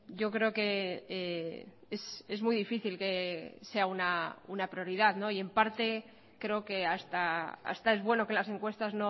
yo creo que es muy difícil que sea una prioridad no y en parte creo que hasta es bueno que las encuestas